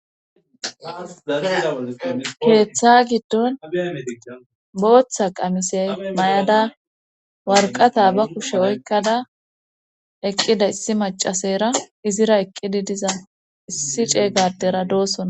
keeththa giddon booththa qamisey may7ada warqata ba kushe oykkada eqqida issi macasera izira eqqidi diza issi ceeygadera doossona